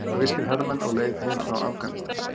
Sovéskir hermenn á leið heim frá Afganistan.